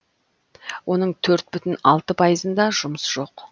оның төрт бүтін алты пайызында жұмыс жоқ